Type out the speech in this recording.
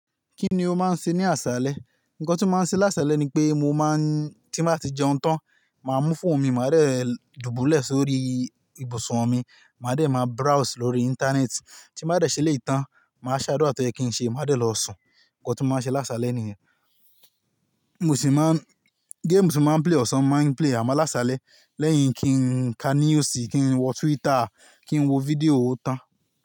Kíni ó máa ń ṣe ní àsálẹ́? Ǹkọ tí mo máa ń ṣe lásálẹ́ ni pé mo má ń tí mo bá ti jẹun tán, màá mú fóònù mi, màá dẹ̀ dùbúlẹ̀ sórí ibùsùn mi, màá dẹ̀ má browse lórí Íńtánẹ́ẹ̀tì, tí mo bá rẹ̀ ṣe eleyi tán, màá ṣ'ádúrá tó yẹ kín ṣe, màá dẹ̀ lọ sùn. Ǹkọ tí mo máa ń ṣe lásálẹ́ nìyẹn. Mo sì má ń, géèmù tí máa ń play ọ̀sán màá ń play àmà lásálẹ́ lẹ́yìn kín ka news, kín wọ Twitter, kín wo fídíò ó tán.